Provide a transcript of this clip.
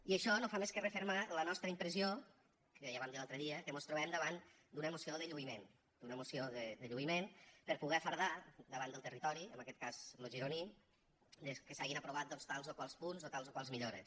i això no fa més que refermar la nostra impressió que ja vam dir l’altre dia que mos trobem davant d’una moció de lluïment d’una moció de lluïment per poder fardar davant del territori en aquest cas lo gironí de que s’hagen aprovat tals o tals punts o tals o tals millores